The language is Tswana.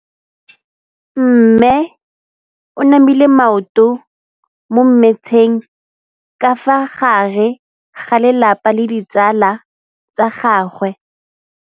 Mme o namile maoto mo mmetseng ka fa gare ga lelapa le ditsala tsa gagwe.